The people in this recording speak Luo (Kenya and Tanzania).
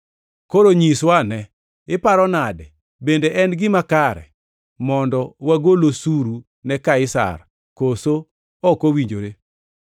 Koro nyiswa ane, iparo nade? Bende en gima kare mondo wagol osuru ne Kaisar, koso ok owinjore?”